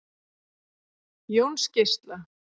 Jónsgeisla